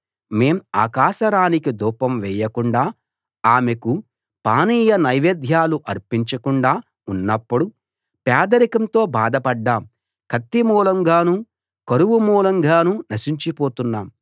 మేం ఆకాశరాణికి ధూపం వేయకుండా ఆమెకు పానీయ నైవేద్యాలు అర్పించకుండా ఉన్నప్పుడు పేదరికంతో బాధ పడ్డాం కత్తి మూలంగానూ కరువు మూలంగానూ నశించిపోతున్నాం